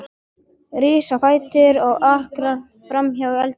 Rís á fætur og arkar fram í eldhús.